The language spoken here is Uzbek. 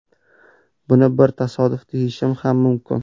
Buni bir tasodif deyishim ham mumkin.